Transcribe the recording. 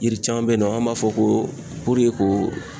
Yiri caman be yen nɔ, anw b'a fɔ ko ko